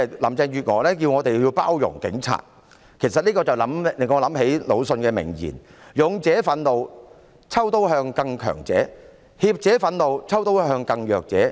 林鄭月娥要我們包容警察，這令我想起魯迅的名言："勇者憤怒，抽刀向更強者；怯者憤怒，抽刀向更弱者。